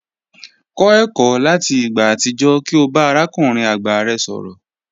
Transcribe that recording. Kọ ẹkọ lati igba atijọ ki o ba arakunrin agba rẹ sọrọ.